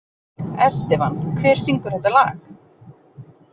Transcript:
Estefan, hver syngur þetta lag?